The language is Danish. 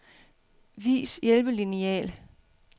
Vis hjælpelineal.